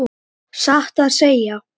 En sögnum var ekki lokið.